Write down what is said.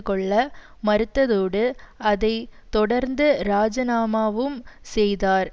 கொள்ள மறுத்ததோடு அதை தொடர்ந்து இராஜினாமாவும் செய்தார்